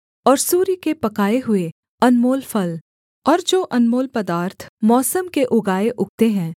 और सूर्य के पकाए हुए अनमोल फल और जो अनमोल पदार्थ मौसम के उगाए उगते हैं